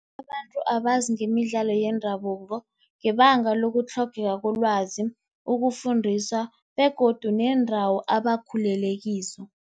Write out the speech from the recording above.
Abantu abazi ngemidlalo yendabuko ngebanga lokutlhogeka kolwazi, ukufundisa begodu neendawo abakhulele kizo.